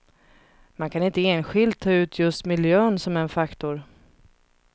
Man kan inte enskilt ta ut just miljön som en faktor.